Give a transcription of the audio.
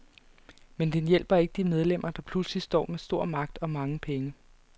Men den hjælper ikke de medlemmer, der pludselig står med stor magt og mange penge.